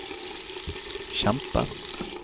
kjempe